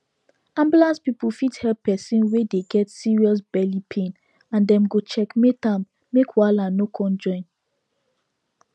ambulance people fit help person wey dey get serious belly pain and dem go checkmate am make wahala no come join